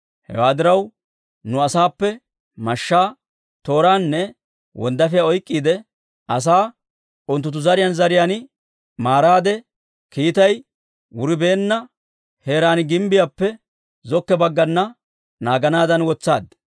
Hewaa diraw, nu asaappe mashshaa, tooraanne wonddaafiyaa oyk'k'iide asaa unttunttu zariyaan zariyaan maaraade, kiitay wuribeenna heeraan gimbbiyaappe zokko baggana naaganaadan wotsaad.